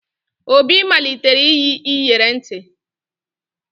Obi malitere iyi iyeri ntị